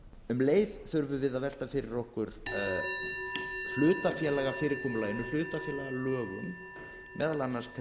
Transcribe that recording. leið þurfum við að velta fyrir okkur hlutafélagafyrirkomulaginu hlutafélagalögum meðal annars til